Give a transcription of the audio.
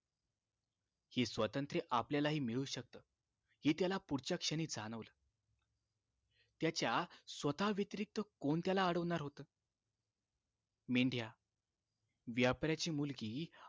हे स्वातंत्र्य आपल्याला हि मिळू शकत हे त्याला पुढच्या क्षणी जाणवलं त्याच्या स्वतः व्यतिरिक्त कोण त्याला अडवनार होत मेंढ्या व्यापाराची मुलगी